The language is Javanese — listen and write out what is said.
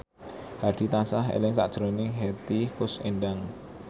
Hadi tansah eling sakjroning Hetty Koes Endang